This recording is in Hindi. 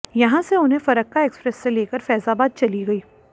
यहां से उन्हें फरक्का एक्सप्रेस से लेकर फैजाबाद चली गई